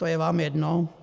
To je vám jedno?